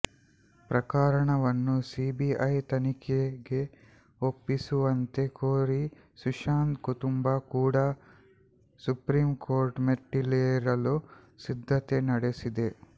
ಪ್ರಕರಣವನ್ನು ಸಿಬಿಐ ತನಿಖೆಗೆ ಒಪ್ಪಿಸುವಂತೆ ಕೋರಿ ಸುಶಾಂತ್ ಕುಟುಂಬ ಕೂಡ ಸುಪ್ರೀಂಕೋರ್ಟ್ ಮೆಟ್ಟಿಲೇರಲು ಸಿದ್ಧತೆ ನಡೆಸಿದೆ